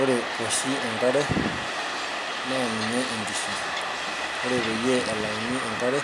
ore oshi enkare naa ninye enkishui, ore pee elauni enakre